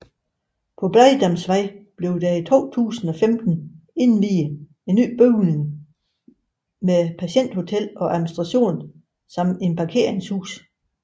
På Blegdamsvej blev der i 2015 indviet en ny bygning med Patienthotel og administration samt et parkeringshus